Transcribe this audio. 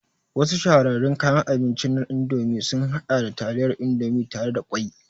Wasu shahararrun kayan abinci na Indomie sun haɗa da taliyar Indomie tare da ƙwai